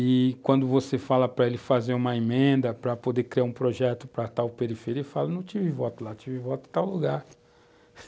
E, quando você fala para ele fazer uma emenda para poder criar um projeto para tal periferia, ele fala, não tive voto lá, tive voto em tal lugar.